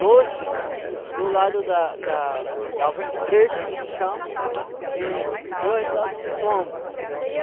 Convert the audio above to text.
Dois do lado da da da ventrecho, que se chama, e dois do lado do lombo.